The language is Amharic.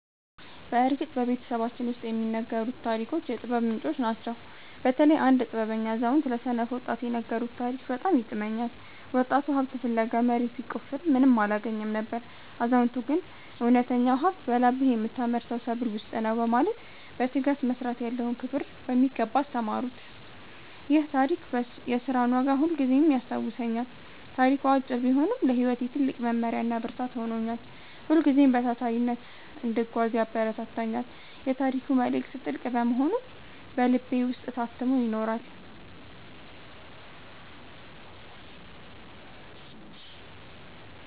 በእርግጥ በቤተሰባችን ውስጥ የሚነገሩት ታሪኮች የጥበብ ምንጮች ናቸው። በተለይ አንድ ጥበበኛ አዛውንት ለሰነፍ ወጣት የነገሩት ታሪክ በጣም ይጥመኛል። ወጣቱ ሀብት ፍለጋ መሬት ቢቆፍርም ምንም አላገኘም ነበር። አዛውንቱ ግን እውነተኛው ሀብት በላብህ በምታመርተው ሰብል ውስጥ ነው በማለት በትጋት መስራት ያለውን ክብር በሚገባ አስተማሩት። ይህ ታሪክ የሥራን ዋጋ ሁልጊዜም ያስታውሰኛል። ታሪኩ አጭር ቢሆንም ለሕይወቴ ትልቅ መመሪያና ብርታት ሆኖኛል። ሁልጊዜም በታታሪነት እንድጓዝ ያበረታታኛል። የታሪኩ መልእክት ጥልቅ በመሆኑ በልቤ ውስጥ ታትሞ ይኖራል።